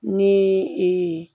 Ni